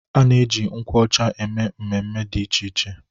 A na-eji nkwụ ọcha eme mmemme dị iche iche.